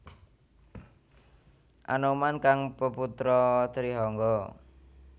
Anoman kang peputra Trihangga